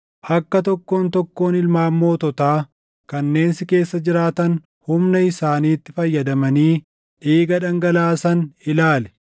“ ‘Akka tokkoon tokkoon ilmaan moototaa kanneen si keessa jiraatan humna isaaniitti fayyadamanii dhiiga dhangalaasan ilaali.